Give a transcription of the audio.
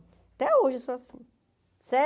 Até hoje eu sou assim